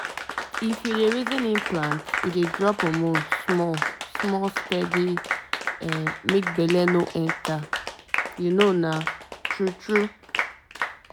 implant dey drop hormone slowly e help you hold your family planning tight. planning tight. true e sure pass!